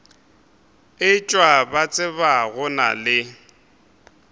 etšwa ba tsena go le